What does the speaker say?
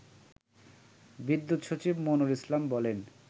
বিদ্যুৎ সচিব মনোয়ার ইসলাম বলেন